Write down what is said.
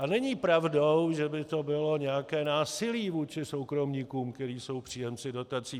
A není pravdou, že by to bylo nějaké násilí vůči soukromníkům, kteří jsou příjemci dotací.